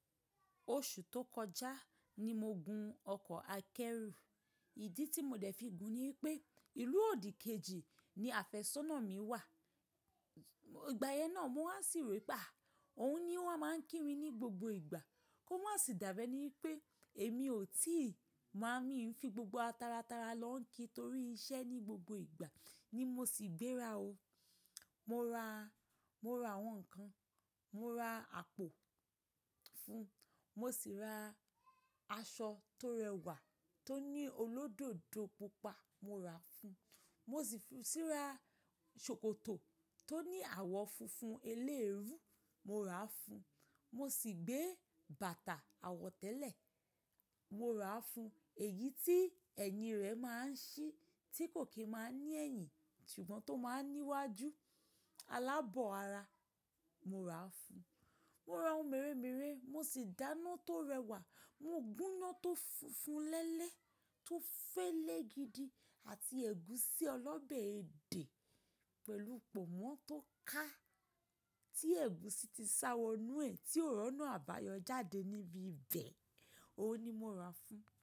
Oṣù tó kọjá ni mo gun ọkọ̀ akẹ́rù. Ìdí tí mo dẹ̀ fi gùn ni wípé ìlú òdì kejì ni àfẹ́sọ́nà mi wà. Ìgbà yẹn náà mọ́ wà sí ró wìpe á, òun ni o wa máa ń kí mi ní gbogbo ìgbà. Kó má sì dàbí ẹ ní wípé èmi ò tíì má n mio ń fi gbogbo taratara lọ́ ń kí torí iṣẹ́ ní gbogbo ìgbà ni mo sì gbéra o. Mo ra, mo ra àwọn nǹkan, mo ra àpò fún un, mo sì ra aṣọ tó rẹwà tó ní olódodo pupa mo ra fún un, mo sì fi sì ra ṣòkòtò tó ní àwọ̀ funfun elérú mo ra fún un, mo sì gbé bàtà àwọ̀ tẹlẹ mo ra fún un, èyí tí ẹyin rẹ̀ máa ń ṣí tí kò kín máa ní ẹ̀yìn ṣùgbọ́n tó máa ń ní iwájú alábọ̀ ara mo ra fún un. Mo ra ohun mèremère, mo sì dáná tó rẹwà, mo gúná tó funfun lẹ́lẹ́ tó fẹ́lẹ́ gidi àti ẹ̀gúsí ọlọ́bẹ èdè pẹ̀lú pọ̀nmọ́ tó ká tí ẹ̀gúsí ti sá wọnú ẹ̀ tí òri óńa àbáyọ jáde níbi ibẹ̀, òun ni mo ra fún un.